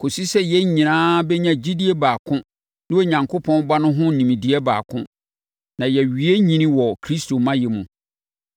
kɔsi sɛ yɛn nyinaa bɛnya gyidie baako ne Onyankopɔn Ba no ho nimdeɛ baako, na yɛawie nyini wɔ Kristo mayɛ mu.